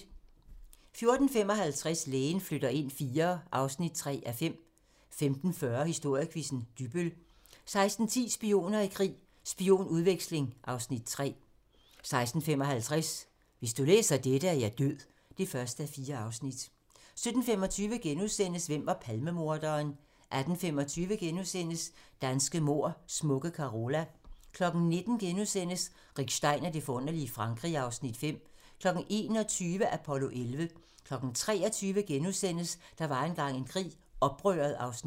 14:55: Lægen flytter ind IV (3:5) 15:40: Historiequizzen: Dybbøl 16:10: Spioner i krig: Spionudveksling (Afs. 3) 16:55: Hvis du læser dette, er jeg død (1:4) 17:25: Hvem var Palmemorderen? * 18:25: Danske mord: Smukke Carola * 19:00: Rick Stein og det forunderlige Frankrig (Afs. 5)* 21:00: Apollo 11 23:00: Der var engang en krig - Oprøret (Afs. 2)*